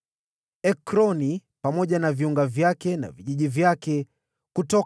Ekroni, pamoja na viunga vyake na vijiji vyake;